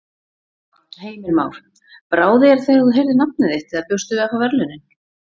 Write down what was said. Heimir Már: Brá þér þegar þú heyrðir nafnið þitt eða bjóstu við að fá verðlaunin?